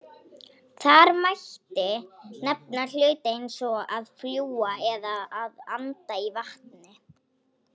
Þar mætti nefna hluti eins og að fljúga eða að anda í vatni.